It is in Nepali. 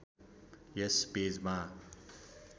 यस पेजमा